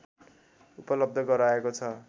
उपलब्ध गराएको छ